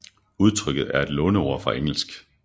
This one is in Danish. Udtrykket er et låneord fra engelsk